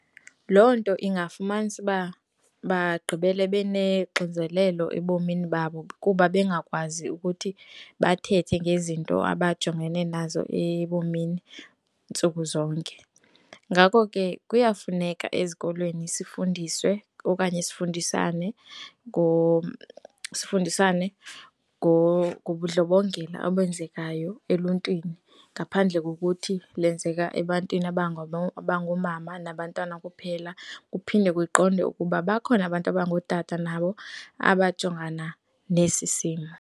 Loo nto ingafumanisa uba bagqibele benexinzelelo ebomini babo kuba bengakwazi ukuthi bathethe ngezinto abajongene nazo ebomini ntsuku zonke. Ngako ke, kuyafuneka ezikolweni sifundiswe okanye sifundisane sifundisane ngobundlobongela obenzekayo eluntwini ngaphandle kokuthi lenzeka ebantwini abangoomama nabantwana kuphela, kuphinde kuqondwe ukuba bakhona abantu abangootata nabo abangajongana nesi simo.